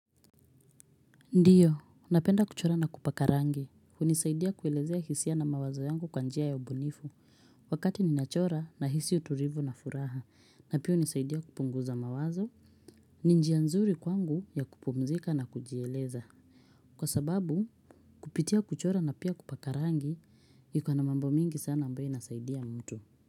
Ndiyo, ninapenda kuchora na kupaka rangi. Hunisaidia kuelezea hisia na mawazo yangu kwa njia ya ubunifu. Wakati ninachora ninahisi utulivu na furaha na pia hunisaidia kupunguza mawazo ni njia nzuri kwangu ya kupumzika na kujieleza. Kwa sababu, kupitia kuchora na pia kupaka rangi ina mambo mengi sana ambayo inasaidia mtu.